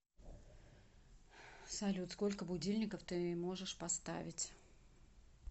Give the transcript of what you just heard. салют сколько будильников ты можешь поставить